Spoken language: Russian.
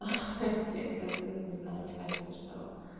ха-ха блин как бы ну не знаю мне кажется что